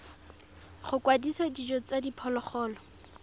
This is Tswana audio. go kwadisa dijo tsa diphologolo